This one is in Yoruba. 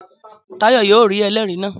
Táyọ̀ yóò rí ẹlẹ́rìí náà